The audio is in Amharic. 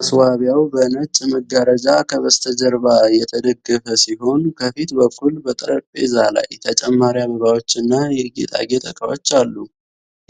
ማስዋቢያው በነጭ መጋረጃ ከበስተጀርባ የተደገፈ ሲሆን፣ ከፊት በኩል በጠረጴዛ ላይ ተጨማሪ አበባዎች እና የጌጣጌጥ ዕቃዎች አሉ።